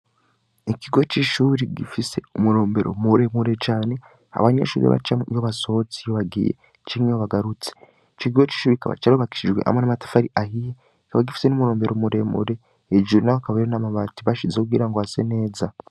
Ikigo c'ishure gifise umurombero muremure cane abanyeshure bacamwo iyo basohotse bagiye canke bagarutse, ico kigo c'ishure kikaba carubakishijwe amatafari ahiye, kikaba gifise umurombero muremure, hejuru naho hakaba hariho amabati bashizeho kugira ngo hase neza.